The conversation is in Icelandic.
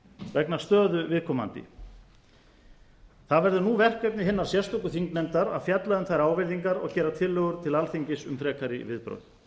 vegna stöðu viðkomandi það verður nú verkefni hinnar sérstöku þingnefndar að fjalla um þær ávirðingar og gera tillögur til alþingis um frekari viðbrögð